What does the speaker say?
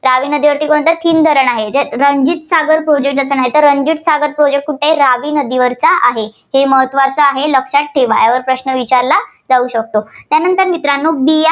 रावी नदीवरती कोणतं धरणं आहे? थीन धरण आहे. जे ~ रणजीत सागत project कुठं आहे? रावी नदीवरचा आहे. ते महत्त्वाचं आहे, लक्षात ठेवा. यावर प्रश्न विचारला जाऊ शकतो. त्यानंतर मित्रांनो बि ~